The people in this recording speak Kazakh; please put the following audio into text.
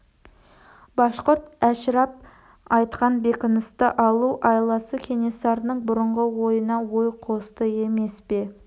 башқұрт әшірап айтқан бекіністі алу айласы кенесарының бұрынғы ойына ой қосты емес пе